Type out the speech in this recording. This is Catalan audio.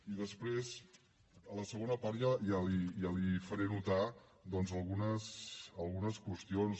i després a la segona part ja li faré notar doncs algunes qüestions